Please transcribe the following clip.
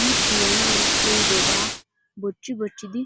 nu tiyanawu koyyidobaa bochchi bochchidi tiyoos.